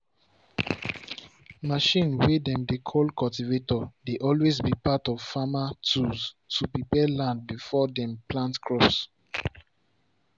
machine way dem dey call cultivator dey always be part of farmer tools to prepare land before dem plant crops.